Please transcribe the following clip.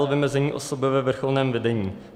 l) - vymezení osoby ve vrcholném vedení.